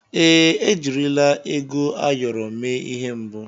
Èè, ejirila ego ayọrọ mee ihe mbụ.